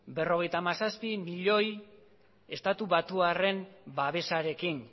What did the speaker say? berrogeita hamazazpi miloi estatubatuarren babesarekin